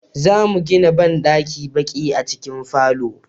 zamu gina banɗakin baƙi a cikin falo